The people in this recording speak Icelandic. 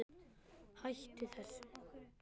Hættu þessu